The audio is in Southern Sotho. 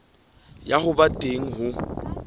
ya ho ba teng ho